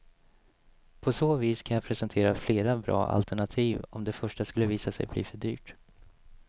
På så vis kan jag presentera flera bra alternativ, om det första skulle visa sig bli för dyrt.